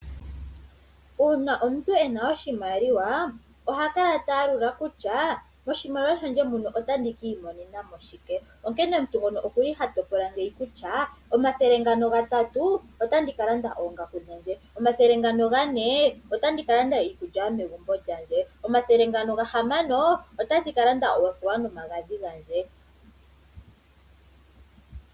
Uuna omuntu e na oshimaliwa oha kala ta yalula kutya moshimaliwa shandje muno otandi ki imonena mo shike, onkene omuntu ngono oku li ha topola ngeyi kutya omathele ngano gatatu otandi ka landa oongaku dhandje, omathele ngano gane otandi ka landa iikulya yomegumbo lyandje, omathele ngano gahamano otandi ka landa oothewa nomagadhi gandje.